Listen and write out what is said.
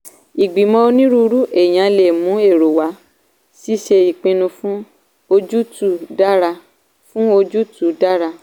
ìgbìmọ̀ onírúurú èèyàn lè mú èrò wá ṣíṣe ìpinnu fún ojútùú dára. fún ojútùú dára.